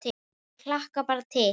Ég hlakka bara til